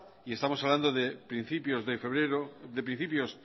y estamos hablando de principios